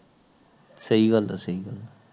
ਸਹੀ ਗੱਲ ਸਹੀ ਗੱਲ ਹੈ